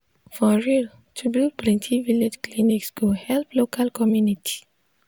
for real to build plenti village clinics go help local community.